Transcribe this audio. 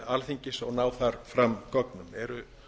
alþingis og ná þar fram gögnum eru